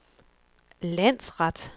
landsret